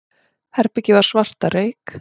Herbergið var svart af reyk.